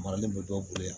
Maralen bɛ dɔw bolo yan